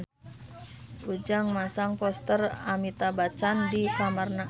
Ujang masang poster Amitabh Bachchan di kamarna